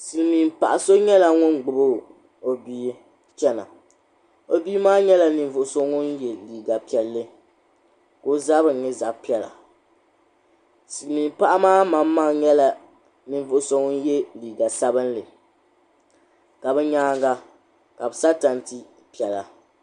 Silimiin paɣ'so nyɛla ŋun gbibi o bia chena o bia maa nyɛla ninvuɣuso ŋun ye liiga piɛlli ka o zabri nyɛ zab'piɛlla Silimiin paɣa maa manmaŋa nyɛla ninvuɣuso ŋun ye liiga sabimli ka bɛ nyaanga ka bɛ sa tanti piɛla.